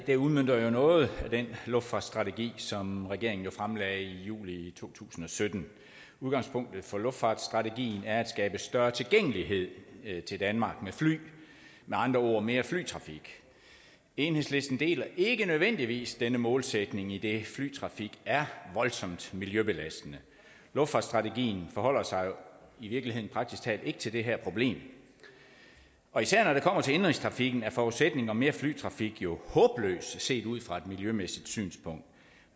her udmønter jo noget af den luftfartsstrategi som regeringen fremlagde i juli to tusind og sytten udgangspunktet for luftfartsstrategien er at skabe større tilgængelighed til danmark med fly med andre ord mere flytrafik enhedslisten deler ikke nødvendigvis denne målsætning idet flytrafik er voldsomt miljøbelastende luftfartsstrategien forholder sig jo i virkeligheden praktisk talt ikke til det her problem og især når det kommer til indenrigstrafikken er forudsætningen om mere flytrafik jo håbløs set ud fra et miljømæssigt synspunkt